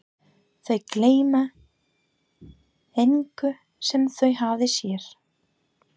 Þau gleyma engu sem þau hafa séð.